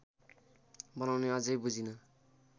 बनाउने अझै बुझिँन